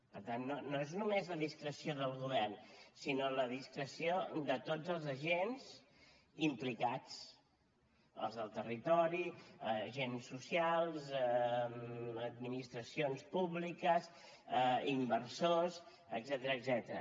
per tant no és només la discreció del govern sinó la discreció de tots els agents implicats els del territori agents socials administracions públiques inversors etcètera